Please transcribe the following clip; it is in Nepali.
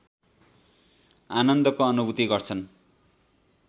आनन्दको अनुभूति गर्छन्